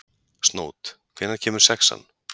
Snót, hvenær kemur sexan?